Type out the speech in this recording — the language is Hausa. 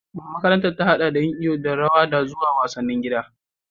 Makarantar ta haɗa da yin iyo da rawa zuwa wasanni na gida